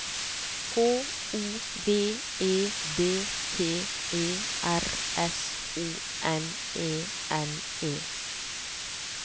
H O V E D P E R S O N E N E